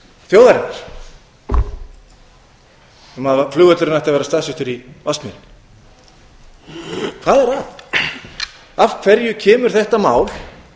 þjóðarinnar um að flugvöllurinn ætti að vera staðsettur í vatnsmýrinni hvað var að af hverju kemur þetta mál